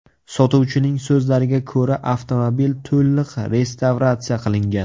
Sotuvchining so‘zlariga ko‘ra, avtomobil to‘liq restavratsiya qilingan.